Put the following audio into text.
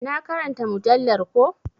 Na ƙaranta mujallar ko.